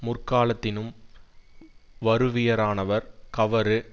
முற்காலத்தினும் வறுவியரானவர் கவறு